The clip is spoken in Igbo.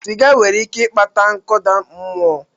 Siga nwere ike ịkpata nkụda mmụọ